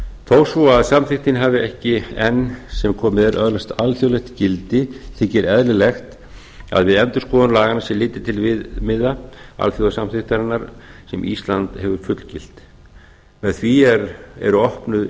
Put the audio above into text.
þó svo samþykktin hafi ekki enn sem komið er öðlast alþjóðlegt gildi þykir eðlilegt að við endurskoðun laganna sé litið til viðmiða alþjóðasamþykktarinnar sem ísland hefur fullgilt með því eru opnuð